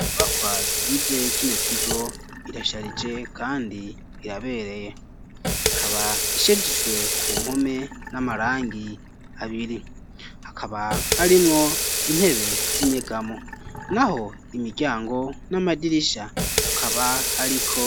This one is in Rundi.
Inyubakwa zigize kino kigo irasharije kandi irabereye ikaba ishajijwe ku mpome n'amarangi abiri hakaba harimwo intebe z'inyegamo naho imiryango n'amadirisha akaba ariko